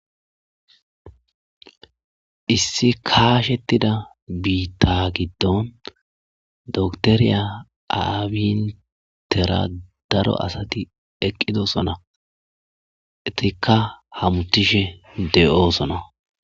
Issi kaashettida biitta giddon doktoriya aabintera daro asati eqqidosona etikka hamuthishe de'oosona.